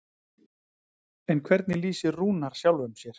En hvernig lýsir Rúnar sjálfum sér?